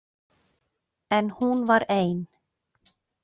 En hún var ein.